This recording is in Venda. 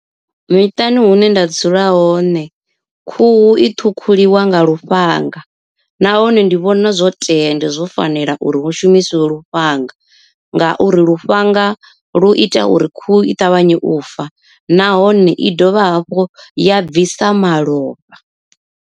Miṱani hune nda dzula hone khuhu i ṱhukhuliwa nga lufhanga, nahone ndi vhona zwo tea and zwo fanela uri hu shumisiwe lufhanga. Ngauri lufhanga lu ita uri khuhu i ṱavhanye u fa nahone i dovha hafhu ya bvisa malofha.